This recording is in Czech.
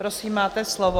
Prosím, máte slovo.